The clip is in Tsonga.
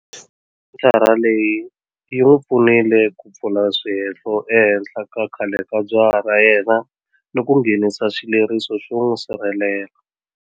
Senthara leyi yi n'wi pfunile ku pfula swihehlo ehenhla ka khale ka jaha ra yena ni ku nghenisa xileriso xo n'wi sirhelela.